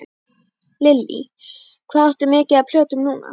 Lillý: Hvað áttu mikið af plötum núna?